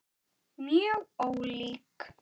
Mjög ólík.